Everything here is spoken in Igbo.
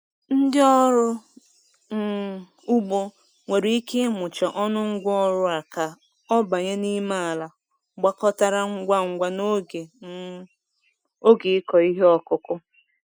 Ndị ọrụ um ugbo nwere ike ịmụcha ọnụ ngwa ọrụ a ka ọ banye n'ime ala gbakọtara ngwa ngwa n'oge um oge ịkọ ihe ọkụkụ.